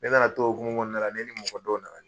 Ne nana tou o hukmu kɔnɔna na ne ni dɔ nana ɲɔgɔn ye.